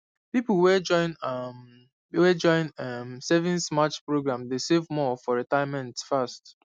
people wey join um wey join um savings match program dey save more for retirement fast